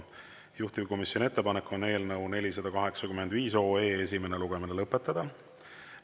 Juhtivkomisjoni ettepanek on eelnõu 485 esimene lugemine lõpetada.